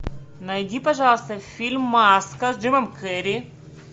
найди пожалуйста фильм маска с джимом керри